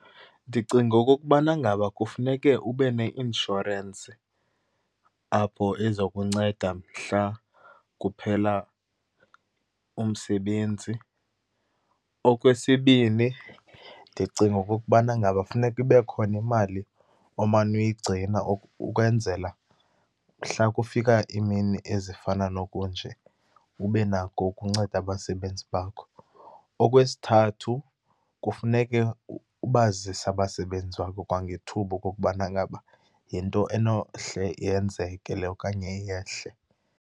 Ndicinga okokubana ngaba kufuneke ube neinshorensi apho eza kunceda mhla kuphela umsebenzi. Okwesibini, ndicinga okokubana ngaba funeka ibe khona imali omane uyigcina ukwenzela mhla kufika iimini ezifana nokunje, ube nako ukunceda abasebenzi bakho. Okwesithathu, kufuneke ubazise abasebenzi bakho kwangethuba okokubana ngaba yinto enohle yenzeke le okanye yehle.